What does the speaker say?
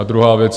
A druhá věc.